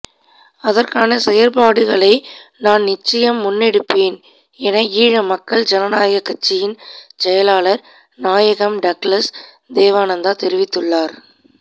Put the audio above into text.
அதற்கான செயற்பாடுகளை நான் நிச்சயம் முன்னெடுப்பேன் என ஈழ மக்கள் ஜனநாயக கட்சியின் செயலாளர் நாயகம் டக்ளஸ் தேவானந்தா தெரிவித்துள்ளார்